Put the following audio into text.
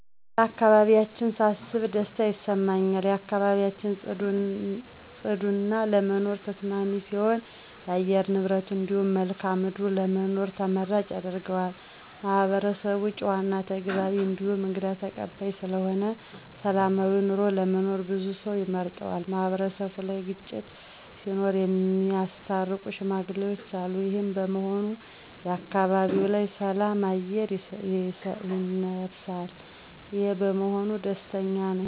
ስለ አካባቢያችን ሳስብ ደስታ ይሰማኛል። አካባቢያችን ፅዱ እና ለመኖር ተስማሚ ሲሆን የአየር ንብረቱ እንዲሁም መልክአ ምድሩ ለመኖር ተመራጭ ያደርገዋል። ማህበረሰቡ ጨዋ እና ተግባቢ እንዲሁም እንግዳ ተቀባይ ስለሆነ ሰላማዊ ኑሮ ለመኖር ብዙ ሰው ይመርጠዋል። ማህበረሰቡ ላይ ግጭት ሲኖር እሚያስታርቁ ሽማግሌዎች አሉ። ይሄም በመሆኑ በአካባቢው ላይ የሰላም አየር ይነፍሳል። ይሄ በመሆኑም ደስተኛ ነኝ።